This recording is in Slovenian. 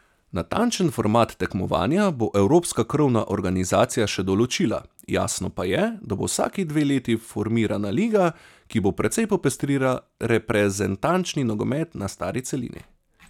Natančen format tekmovanja bo evropska krovna organizacija še določila, jasno pa je, da bo vsaki dve leti formirana liga, ki bo precej popestrila reprezentančni nogomet na stari celini.